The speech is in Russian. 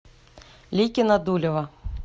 ликино дулево